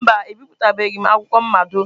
Mba, ebipụtabeghị m akwụkwọ mmado.